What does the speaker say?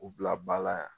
U bila ba la yan